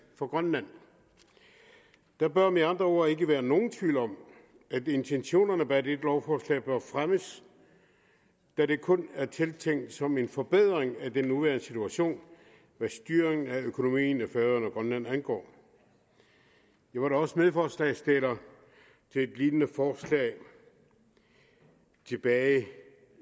for grønland der bør med andre ord ikke være nogen tvivl om at intentionerne bag dette lovforslag bør fremmes da det kun er tiltænkt som en forbedring af den nuværende situation hvad styring af økonomien i færøerne og grønland angår vi var da også medforslagsstillere til et lignende forslag tilbage